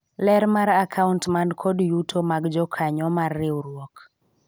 ler mar akaunt man kod yuto mag jokanyo mar riwruok